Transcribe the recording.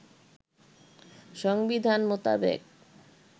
সংবিধান মোতাবেক